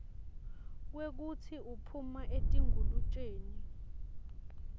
kwekutsi uphuma etingulutjeni